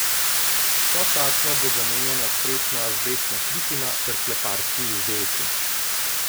Sočasno bo zamenjana strešna azbestna kritina ter kleparski izdelki.